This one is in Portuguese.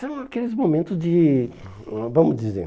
São aqueles momentos de, vamos dizer...